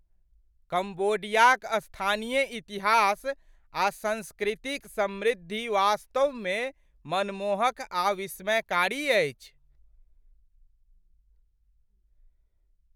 कम्बोडियाक स्थानीय इतिहास आ संस्कृतिक समृद्धि वास्तवमे मनमोहक आ विस्मयकारी अछि।